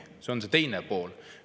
See on see teine pool.